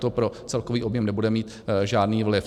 To pro celkový objem nebude mít žádný vliv.